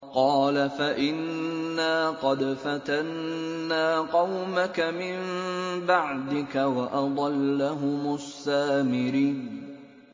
قَالَ فَإِنَّا قَدْ فَتَنَّا قَوْمَكَ مِن بَعْدِكَ وَأَضَلَّهُمُ السَّامِرِيُّ